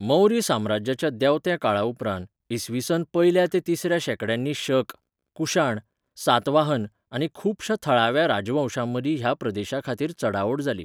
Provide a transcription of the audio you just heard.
मौर्य साम्राज्याच्या देंवत्या काळाउपरांत इ.स.च्या पयल्या ते तिसऱ्या शेंकड्यांनी शक, कुशाण, सातवाहन आनी खुबश्या थळाव्या राजवंशांमदीं ह्या प्रदेशा खातीर चडाओड जाली.